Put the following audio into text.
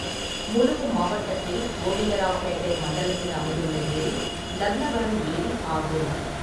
முலுகு மாவட்டத்தில் கோவிந்தராவ்பேட்டை மண்டலத்தில் அமைந்துள்ள ஏரி லக்னவரம் ஏரி ஆகும்.